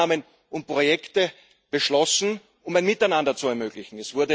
Es wurden Maßnahmen und Projekte beschlossen, um ein Miteinander zu ermöglichen.